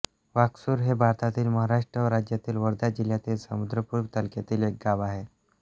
वाकसूर हे भारतातील महाराष्ट्र राज्यातील वर्धा जिल्ह्यातील समुद्रपूर तालुक्यातील एक गाव आहे